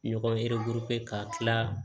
Ɲɔgɔn ka kila